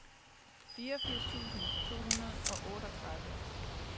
femogfirs tusind to hundrede og otteogtredive